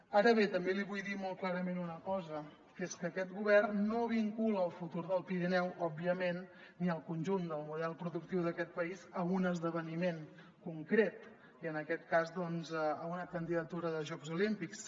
ara bé també li vull dir molt clarament una cosa que és que aquest govern no vincula el futur del pirineu òbviament ni el conjunt del model productiu d’aquest país a un esdeveniment concret i en aquest cas doncs a una candidatura de jocs olímpics